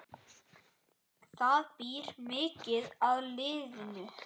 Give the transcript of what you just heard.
Það býr mikið í liðinu.